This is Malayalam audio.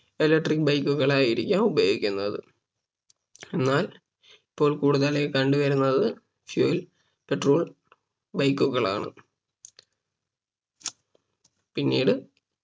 Electric bike കളായിരിക്കാം ഉപയോഗിക്കുന്നത് എന്നാൽ ഇപ്പോൾ കൂടുതലായും കണ്ട് വരുന്നത് Fuel petrol bike കളാണ് പിന്നീട്